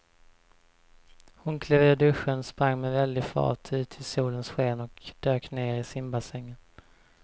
Hon klev ur duschen, sprang med väldig fart ut i solens sken och dök ner i simbassängen.